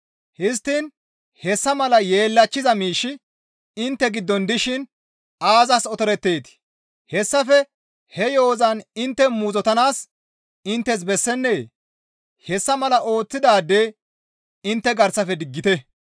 Histtiin hessa mala yeellachchiza miishshi intte giddon dishin aazas otoreteetii? Hessafe he yo7ozan intte muuzottanaas inttes bessennee? Hessa mala ooththidaade intte garsafe diggite.